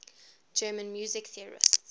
german music theorists